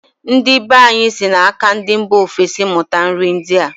Ndi be anyị si na-aka ndị mba ofesi mụta nri ndịa.